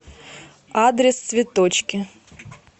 адрес цветочки